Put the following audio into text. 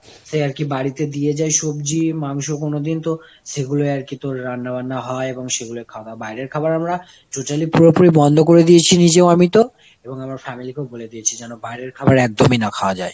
সে আরকি বাড়িতে দিয়ে যায় সবজি মাংস কোনদিন তো সেগুলোই আর কি তোর রান্না বান্না হয় এবং সেগুলোই খাওয়া হয় বাইরের খাওয়ার আমরা totally পুরোপুরি বন্ধ করে দিয়েছি নিয়মিত এবং আমার ফ্যামিলি কেও বলে দিয়েছি যেন না=বাইরের খাওয়া একদম ই না খাওয়া যায়।